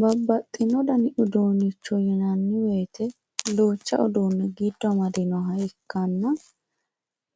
babbaxino dani uduunicho yinanni woyiite duucha uduune giddo amaadinoha ikkanna